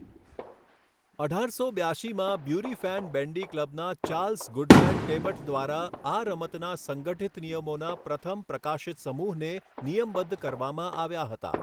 અઢારસો બ્યાશીમાં Bury Fen Bandy ક્લબના ચાર્લ્સ ગુડમેન ટેબટ દ્વારા આ રમતના સંગઠિત નિયમોના પ્રથમ પ્રકાશિત સમૂહને નિયમબદ્ધ કરવામાં આવ્યા હતા.